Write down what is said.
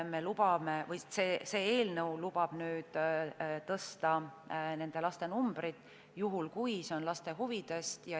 Eelnõu lubab nüüd tõsta seda arvu juhul, kui see on laste huvides.